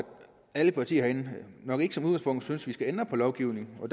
alle partier herinde nok ikke som udgangspunkt synes vi skal ændre på lovgivningen og